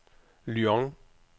Lyon